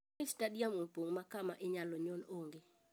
Moi stadium opong makama inyalo nyon ong'e.